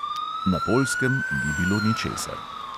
Na poljskem ni bilo ničesar.